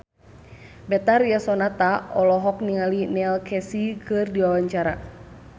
Betharia Sonata olohok ningali Neil Casey keur diwawancara